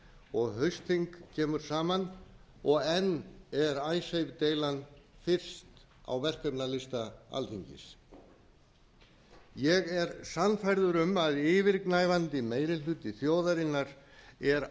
og haustþing kemur saman og enn er icesave deilan fyrst á verkefnalista alþingis ég er sannfærður um að yfirgnæfandi meiri hluti þjóðarinnar er